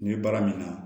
N'i ye baara min na